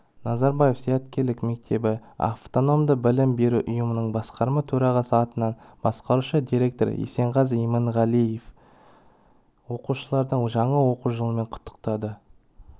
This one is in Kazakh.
назарбаев зияткерлік мектебі автономды білім беру ұйымының басқарма төрағасы атынан басқарушы директор есенғазы иманғалиев оқушыларды жаңа оқу жылымен құттықтады